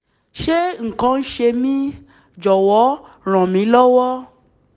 ṣé nǹkan kan ń ṣe mí? jọ̀wọ́ ràn mí lọ́wọ́